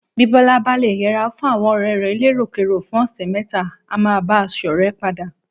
Bí Bọ́lá bá le yẹra fún àwọn ọ̀rẹ́ rẹ̀ eléròkérò fún ọ̀sẹ̀ mẹ́ta, á máa bá a ṣọ̀rẹ́ padà.